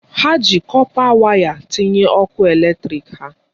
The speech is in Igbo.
Ha ji kọpa waya tinye ọkụ eletrịk ha.